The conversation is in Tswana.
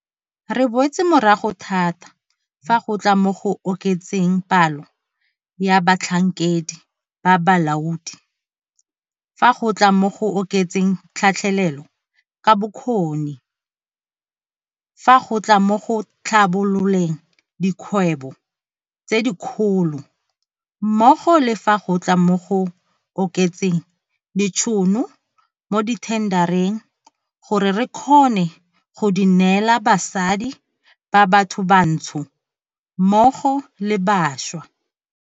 Re boetse morago thata fa go tla mo go oketseng palo ya batlhankedi ba balaodi, fa go tla mo go oketseng tlhatlhelelo ka bokgoni, fa go tla mo go tlhabololeng dikgwebo tse dikgolo mmogo le fa go tla mo go oketseng ditšhono mo dithendareng gore re kgone go di neela basadi ba bathobantsho mmogo le bašwa.